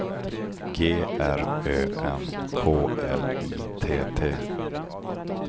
G R Ö N K L I T T